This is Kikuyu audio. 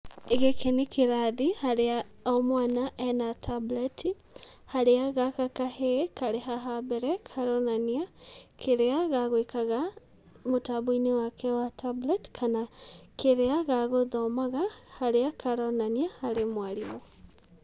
Gĩkĩ nĩ kĩrathi harĩa o mwana ena tablet harĩa gaka kahĩĩ, karĩ haha mbere karonania kĩrĩa gagwĩkaga mũtambo-inĩ wake wa tablet kana kĩrĩa ga gũthomaga harĩa karonania harĩ mwarimũ.